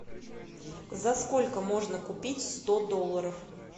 за сколько можно купить сто долларов